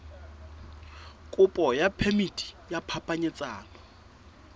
kopo ya phemiti ya phapanyetsano